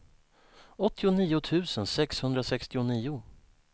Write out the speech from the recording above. åttionio tusen sexhundrasextionio